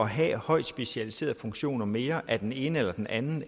have højt specialiserede funktioner mere af den ene eller den anden